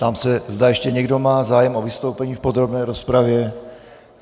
Ptám se, zda ještě někdo má zájem o vystoupení v podrobné rozpravě.